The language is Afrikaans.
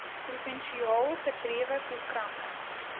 provinsiaal gedrewe programme